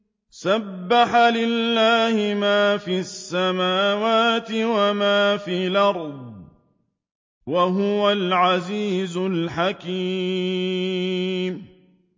سَبَّحَ لِلَّهِ مَا فِي السَّمَاوَاتِ وَمَا فِي الْأَرْضِ ۖ وَهُوَ الْعَزِيزُ الْحَكِيمُ